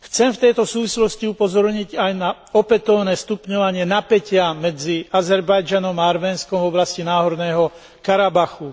V tejto súvislosti chcem upozorniť aj na opätovné stupňovanie napätia medzi Azerbajdžanom a Arménskom v oblasti Náhorného Karabachu.